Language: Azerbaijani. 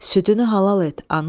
Südünü halal et, ana!